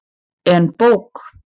En bók?